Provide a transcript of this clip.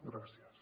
gràcies